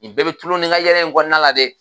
Ni bɛɛ bɛ tulon ni ka yɛlɛ in kɔnɔna la dɛ.